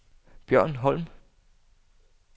Bjørn Holm